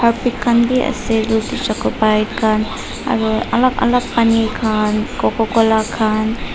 khan b ase etu chocopi khan aro alak alak pani khan cococola khan.